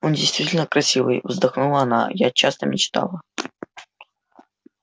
он действительно красивый вздохнула она я часто мечтала